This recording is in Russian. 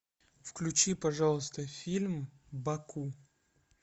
включи пожалуйста фильм баку